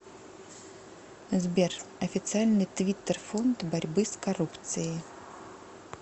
сбер официальный твиттер фонд борьбы с коррупцией